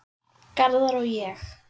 Garðar og ég